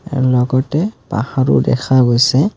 ইয়াৰ লগতে পাহাৰো দেখা গৈছে।